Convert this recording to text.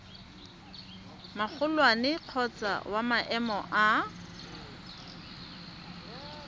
magolwane kgotsa wa maemo a